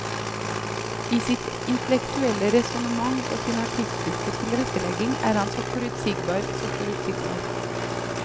I sitt intellektuelle resonnement og sin artistiske tilrettelegging er han så forutsigbar, så forutsigbar.